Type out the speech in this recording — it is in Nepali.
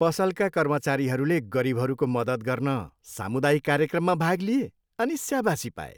पसलका कर्मचारीहरूले गरिबहरूको मद्दत गर्न सामुदायिक कार्यक्रममा भाग लिए अनि स्याबासी पाए।